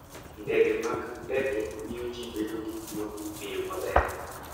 Ndege mag ndege miyo ji bedo gi wuoth e yo maber.